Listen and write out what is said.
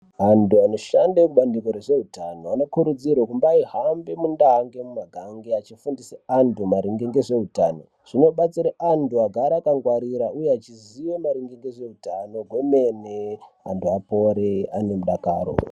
Antu anoshande mubandiko rezveutano anokurudzirwa kumbahambe mundau nemumigange echifundisa antu maringe ngezveutano. Zvinobatsire antu kuti agare akangwarira echiziya ngezveutano gwemene vantu vapore vanemudakaro.